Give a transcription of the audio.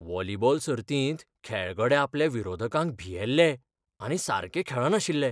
Volleyball सर्तींत खेळगडे आपल्या विरोधकांक भियेल्ले आनी सारके खेळनाशिल्ले.